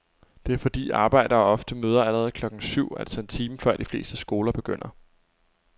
Det er fordi arbejdere ofte møder allerede klokken syv, altså en time før de fleste skoler begynder.